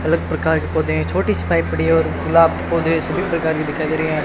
अलग प्रकार के पौधे हैं छोटी सी पाइप पड़ी है और गुलाब के पौधे सभी प्रकार के दिखाई दे रही हैं।